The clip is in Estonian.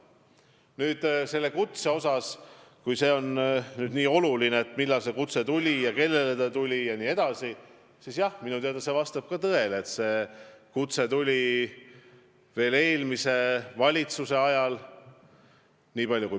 Nüüd, kui on nii oluline, millal see kutse tuli ja kellele see tuli, siis jah, minu teada see vastab tõele, et see tuli veel eelmise valitsuse ajal.